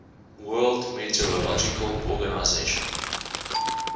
world meteorological organization